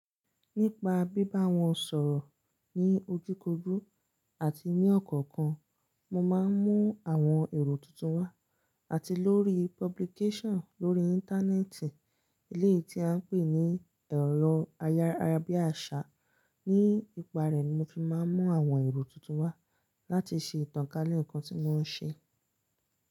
Nípa bíbá wọn sọ̀rọ̀ ní ojúkojú àti ní ọ̀kọ̀ọ̀kan, mo máa ń mú àwọn èrò tuntun wá. Àti lórí publication lórí Íńtánẹ́ẹ̀tì, ilé tí a ń pè ní ẹ̀rọ ayárabíàṣá, ní ipa rẹ̀ mo fi máa ń mú àwọn èrò tuntun wá láti ṣe ìtànkálẹ̀ ǹkan tí mo ń ṣe.